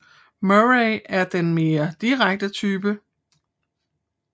Murray er den mere direkte type